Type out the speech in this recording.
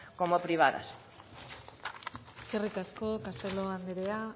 como privadas eskerrik asko castelo anderea